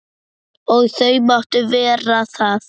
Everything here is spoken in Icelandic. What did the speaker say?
Og þau máttu vera það.